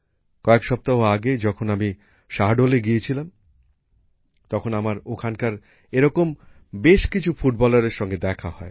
কয়েক সপ্তাহ আগে যখন আমি শাহডোল গিয়েছিলাম তখন আমার ওখানকার এরকম বেশ কিছু ফুটবলারের সঙ্গে দেখা হয়